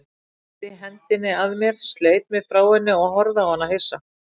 Kippti hendinni að mér, sleit mig frá henni og horfði á hana hissa.